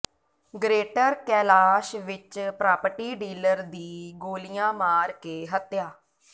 greater Kailash ਵਿੱਚ property dealer ਦੀ ਗੋਲੀਆਂ ਮਾਰ ਕੇ ਹੱਤਿਆ